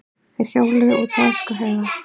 Þeir hjóluðu út á öskuhauga.